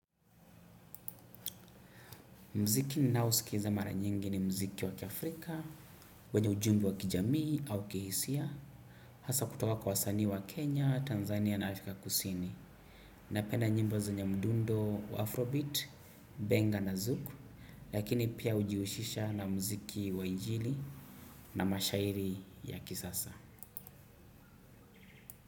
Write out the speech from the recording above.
Mziki ninaosikiza mara nyingi ni mziki wakiafrika, wenye ujumbe wakijamii au kihisia, haswa kutoka kwa wasanii wa Kenya, Tanzania na Afrika kusini. Napenda nyimbo zenye mdundo wa Afrobeat, Benga na Zuku, lakini pia hujihusisha na mziki wa injili na mashairi ya kisasa.